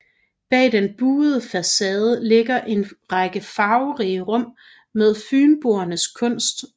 Bag den buede facade ligger en række farverige rum med Fynboernes kunst